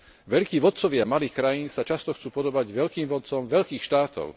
Veľkí vodcovia malých krajín sa často chcú podobať veľkým vodcom veľkých štátov.